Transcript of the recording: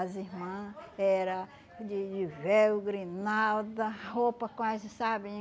As irmã era de de véu, grinalda, roupa quase, sabe?